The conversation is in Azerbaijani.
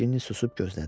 Ginni susub gözlədi.